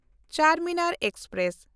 Charminar express